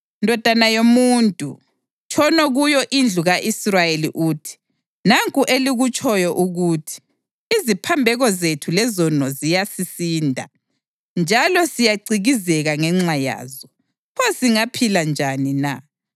Ndodana yomuntu, tshono kuyo indlu ka-Israyeli uthi, ‘Nanku elikutshoyo ukuthi, “Iziphambeko zethu lezono ziyasisinda, njalo siyacikizeka ngenxa yazo. Pho singaphila njani na?” ’